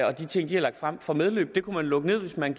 og de ting de har lagt frem får medvind det kunne man lukke ned hvis man